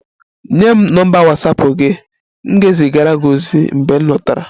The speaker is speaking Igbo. Nye m nọmba Watsapụ gị, m ga-ezigara gị ozi mgbe m lọtara